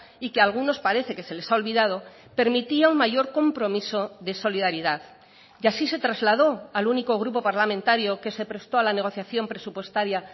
y que algunos parece que se les ha olvidado permitía un mayor compromiso de solidaridad y así se trasladó al único grupo parlamentario que se prestó a la negociación presupuestaria